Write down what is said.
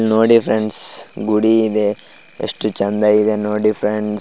ನೋಡಿ ಫ್ರೆಂಡ್ಸ್ ಗುಡಿ ಇದೆ ಯಷ್ಟಚಂದಾ ಇದೆ ನೋಡಿ.